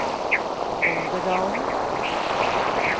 Olderdalen